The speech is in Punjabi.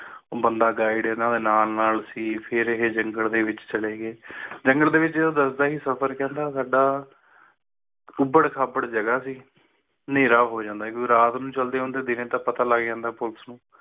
ਉਹ ਬੰਦਾ guide ਇਨ੍ਹਾਂ ਦੇ ਨਾਲ ਨਾਲ ਸੀ ਫਿਰ ਇਹ ਜੰਗਲੇ ਦੇ ਵਿਚ ਚਲੇ ਗਏ ਜੰਗਲ ਦੇ ਵਿਚ ਉਹ ਦੱਸਦਾ ਸੀ ਸਫਰ ਕਹਿੰਦਾ ਸਾਡਾ ਉਬੜ ਖਾਬੜ ਜਗਾਹ ਸੀ ਹਨੇਰਾ ਹੋ ਜਾਂਦਾ ਸੀ ਕਿਉਂਕਿ ਰਾਤ ਨੂੰ ਚਲਦੇ ਹੁੰਦੇ ਸੀ ਦੀਨੇ ਤਾ ਪਤਾ ਲੱਗ ਜਾਂਦਾ ਪੁਲਸ ਨੂੰ